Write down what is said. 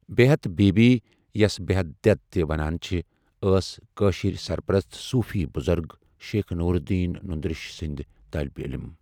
بیہت بیبی یَس بیہت دؠد تہٕ ونان چھِ، ٲسؠ کٲشِرؠ سرپرست صوٗفی بُزرگ شیخ نور الدین نند ریشی سٕنٛز طٲلبہِ عٔلِم۔